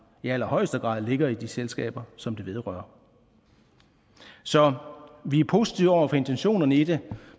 i allerhøjeste grad ligger i de selskaber som det vedrører så vi er positive over for intentionerne i det